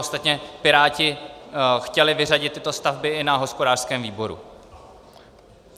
Ostatně Piráti chtěli vyřadit tyto stavby i na hospodářském výboru.